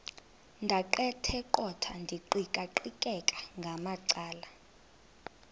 ndaqetheqotha ndiqikaqikeka ngamacala